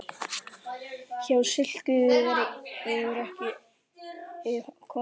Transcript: Hjá slíku verður ekki komist.